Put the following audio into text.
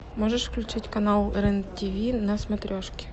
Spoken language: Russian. можешь включить канал рен тв на смотрешке